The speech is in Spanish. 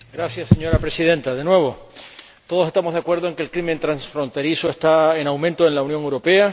Señora Presidenta, todos estamos de acuerdo en que el crimen transfronterizo está en aumento en la Unión Europea.